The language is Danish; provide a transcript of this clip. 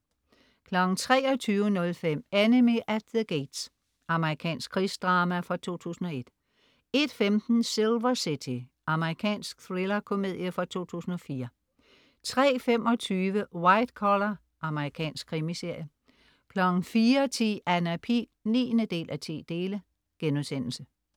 23.05 Enemy at the Gates. Amerikansk krigsdrama fra 2001 01.15 Silver City. Amerikansk thriller-komedie fra 2004 03.25 White Collar. Amerikansk krimiserie 04.10 Anna Pihl 9:10*